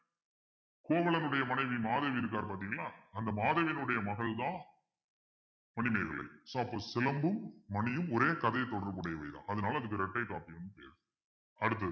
கோவலனுடைய மனைவி மாதவி இருக்கார் பாத்தீங்களா அந்த மாதவியினுடைய மகள்தான் மணிமேகலை so அப்போ சிலம்பும் மணியும் ஒரே கதையில் தொடர்புடையவைதான் அதனால அதுக்கு இரட்டைகாப்பியம் பேரு அடுத்தது